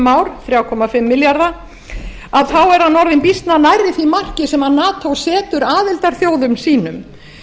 ár þrjú komma fimm milljarða þá er hann orðinn býsna nærri því marki sem nato setur aðildarþjóðum sínum